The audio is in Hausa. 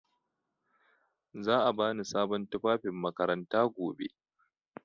Za a bani sabon tufafin makaranta gobe.